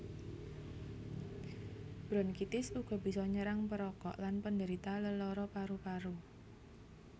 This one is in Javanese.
Bronkitis uga bisa nyerang perokok lan penderita lelara paru paru